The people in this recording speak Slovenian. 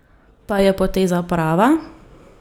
Pa je poteza prava?